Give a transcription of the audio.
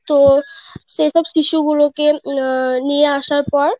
তো সেসব শিশু গুলো কে উম নিয়ে আসার পর